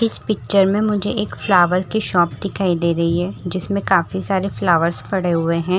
इस पिक्चर में मुझे एक फ्लावर की शॉप दिखाई दे रही है जिसमें काफी सारे फ्लावर्स पड़े हुए हैं।